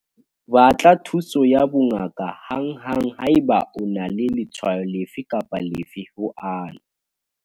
Batla thuso ya bongaka hanghang haeba o na le letshwao lefe kapa lefe ho ana.